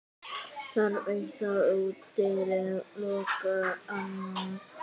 Þarf eitt að útiloka annað?